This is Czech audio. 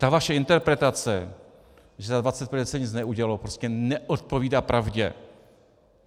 Ta vaše interpretace, že za 25 let se nic neudělalo, prostě neodpovídá pravdě.